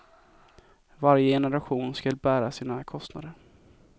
Varje generation skall bära sina kostnader.